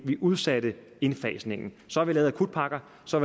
vi udsatte indfasningen så har vi lavet akutpakker så